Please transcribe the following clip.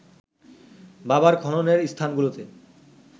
বাবার খননের স্থানগুলোতে